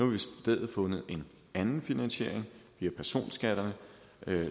vi i stedet fundet en anden finansiering via personskatterne